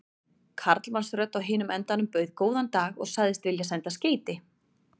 Karlmannsrödd á hinum endanum bauð góðan dag og sagðist vilja senda skeyti.